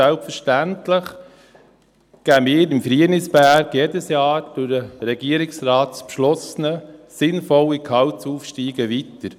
Selbstverständlich geben wir im Frienisberg jedes Jahr durch den Regierungsrat beschlossene sinnvolle Gehaltsaufstiege weiter.